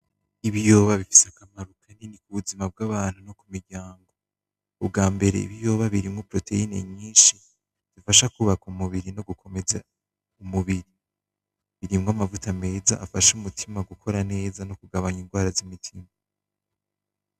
Ibiyoba bifise akamaro kanini kubuzima bw'abantu no kumiryango, umbwabere ibiyoba birimwo proteine nyishi bifasha kubaka umubiri no gukomeza umubiri. Birimwo amavuta meza afasha umutima gukora neza nokugabanya ingwara z'umutima.